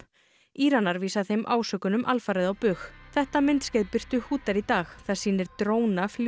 Íranar vísa þeim ásökunum alfarið á bug þetta myndskeið birtu í dag það sýnir dróna